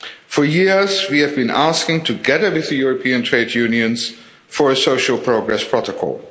For years we have been asking, together with European trade unions, for a social progress protocol.